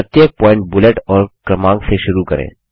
प्रत्येक point bullet और क्रमांक से शुरू करें